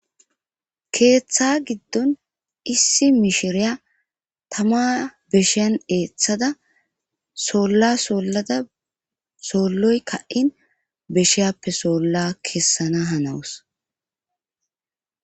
keeththa giddon issi mishiriya tama beshiyan eeththada soolla sollada solloy ka7in beshiyaappe soolla kessana hanawus.